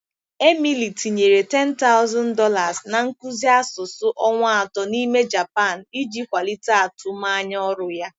Emily tinyere $10,000 na nkuzi asụsụ ọnwa atọ n'ime Japan iji kwalite atụmanya ọrụ ya.